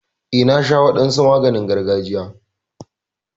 Eh, na sha wadansu maganin gargajiya.